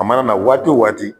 A mana na waati o waati